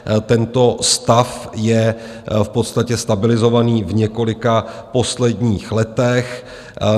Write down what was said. Tento stav je v podstatě stabilizovaný v několika posledních letech.